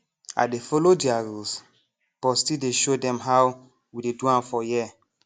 i dey follow their rules but still dey show dem how we dey do am for here